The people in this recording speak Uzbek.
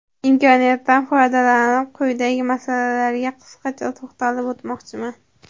Imkoniyatdan foydalanib, quyidagi masalalarga qisqacha to‘xtalib o‘tmoqchiman.